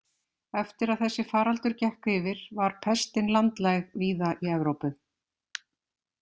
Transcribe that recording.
Eftir að þessi faraldur gekk yfir var pestin landlæg víða í Evrópu.